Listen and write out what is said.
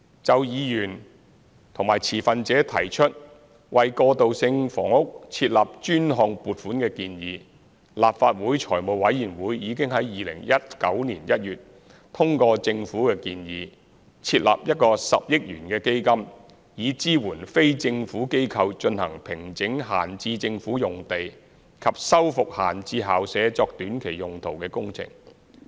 就議員及持份者提出為過渡性房屋設立專項撥款的建議，立法會財務委員會已於2019年1月通過政府的建議，設立一個10億元的基金，以支援非政府機構進行平整閒置政府用地及修復閒置校舍作短期用途的工程。